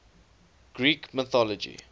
greek mythology